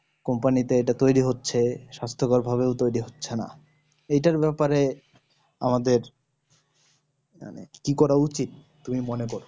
company তে অনেক তৈরী হচ্ছে স্বাস্থ কর ভাবেও তৈরী হচ্ছে না এটার ব্যাপার এ আমাদের মানে কি করা উচিত তুমি মনে করো